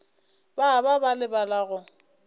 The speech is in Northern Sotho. ba ba ba lebala go